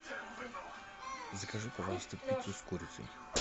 закажи пожалуйста пиццу с курицей